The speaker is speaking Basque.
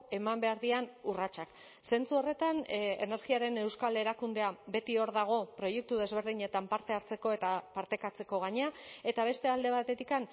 eman behar diren urratsak zentzu horretan energiaren euskal erakundea beti hor dago proiektu desberdinetan parte hartzeko eta partekatzeko gainera eta beste alde batetik